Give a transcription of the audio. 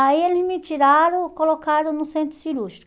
Aí eles me tiraram e colocaram no centro cirúrgico.